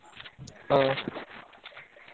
ହଁ।